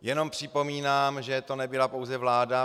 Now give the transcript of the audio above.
Jenom připomínám, že to nebyla pouze vláda.